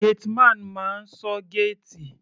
Gateman máa ń ṣọ́ géètì.